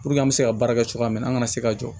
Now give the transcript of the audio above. Puruke an bɛ se ka baara kɛ cogoya min na an kana se ka jɔ